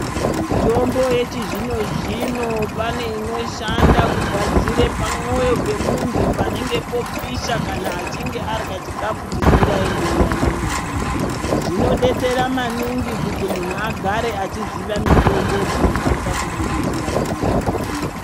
Mitombo yechi zvino zvino pane inoshanda kugadzire pa moyo pe muntu panenge po pisha kana achinge arya chikafu chisinga enderani naye dzino detsera maningi kuti munhu agare achiziva mitombo dzino kwanisa kumu detsera pa matambudziko.